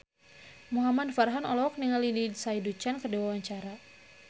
Muhamad Farhan olohok ningali Lindsay Ducan keur diwawancara